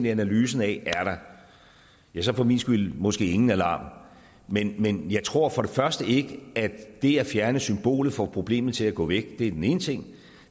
analyse af er der ja så for min skyld måske ingen alarm men men jeg tror ikke at det at fjerne symbolet får problemet til at gå væk det er den ene ting